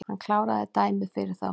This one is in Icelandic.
Hann kláraði dæmið fyrir þá